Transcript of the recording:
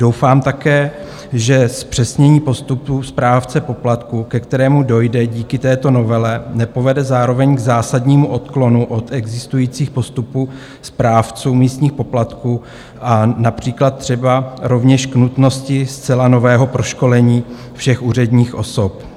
Doufám také, že zpřesnění postupů správce poplatků, ke kterému dojde díky této novele, nepovede zároveň k zásadnímu odklonu od existujících postupů správců místních poplatků a například třeba rovněž k nutnosti zcela nového proškolení všech úředních osob.